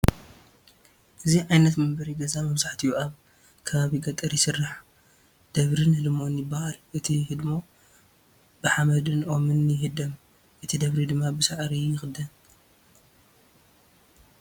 እዚ ዓይነት መንበሪ ገዛ መብዛሕትኡ ኣብ ከባቢ ገጠር ይስራሕ፡፡ ደብርን ህድሞን ይባሃል፡፡ እቲ ህድሞ ብሓመድን ኦምን ይህደም፣ እቲ ደብሪ ድማ ብሳዕሪ ይኽደን፡፡